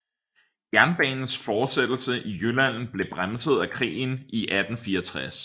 Jernbanens fortsættelse i Jylland blev bremset af krigen i 1864